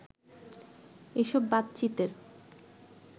এসব বাতচিতের